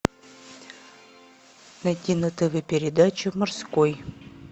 найти на тв передачу морской